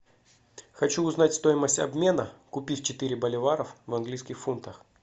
хочу узнать стоимость обмена купив четыре боливаров в английских фунтах